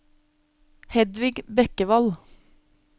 Hedvig Bekkevold